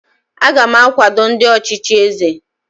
aga m akwado ndị ọchịchị eze